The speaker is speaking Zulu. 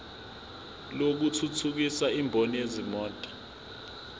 lokuthuthukisa imboni yezimoto